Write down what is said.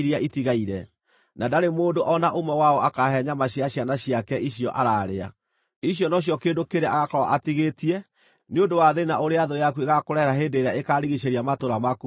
na ndarĩ mũndũ o na ũmwe wao akaahe nyama cia ciana ciake icio araarĩa. Icio nocio kĩndũ kĩrĩa agaakorwo atigĩtie nĩ ũndũ wa thĩĩna ũrĩa thũ yaku ĩgaakũrehere hĩndĩ ĩrĩa ĩkaarigiicĩria matũũra maku manene mothe.